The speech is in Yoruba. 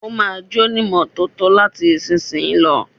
Ó ma jónímọ́tótó láti ìsìnyí lọ.